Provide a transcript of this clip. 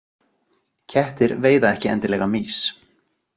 Kettir veiða ekki endilega mýs.